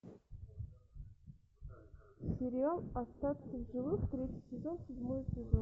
сериал остаться в живых третий сезон седьмой эпизод